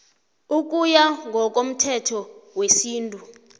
ukuya ngokomthetho wesintu